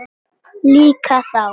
Líka þá.